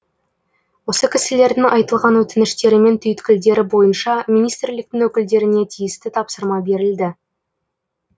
осы кісілердің айтылған өтініштері мен түйткілдері бойынша министрліктің өкілдеріне тиісті тапсырма берілді